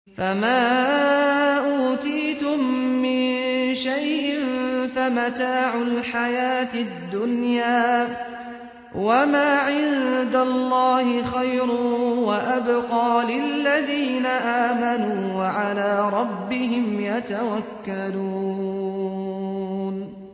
فَمَا أُوتِيتُم مِّن شَيْءٍ فَمَتَاعُ الْحَيَاةِ الدُّنْيَا ۖ وَمَا عِندَ اللَّهِ خَيْرٌ وَأَبْقَىٰ لِلَّذِينَ آمَنُوا وَعَلَىٰ رَبِّهِمْ يَتَوَكَّلُونَ